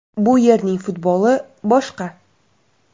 Bu yerning futboli boshqa.